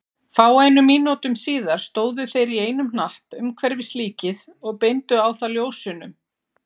Fáeinum mínútum síðar stóðu þeir í einum hnapp umhverfis líkið og beindu á það ljósunum.